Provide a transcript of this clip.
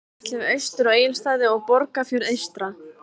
Síðan ætlum við austur á Egilsstaði og Borgarfjörð eystra.